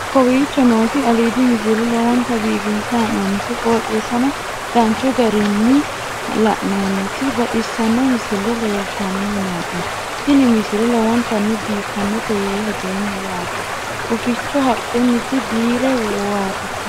kowicho nooti aliidi misile lowonta biifinse haa'noonniti qooxeessano dancha ikkite la'annohano baxissanno misile leeltanni nooe ini misile lowonta biifffinnote yee hedeemmo yaate huficho haqqunniti biire warite